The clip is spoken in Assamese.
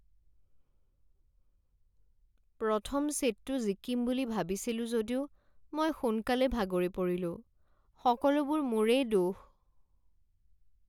প্ৰথম ছেটটো জিকিম বুলি ভাবিছিলোঁ যদিও মই সোনকালে ভাগৰি পৰিলোঁ। সকলোবোৰ মোৰেই দোষ।